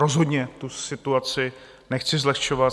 Rozhodně tu situaci nechci zlehčovat.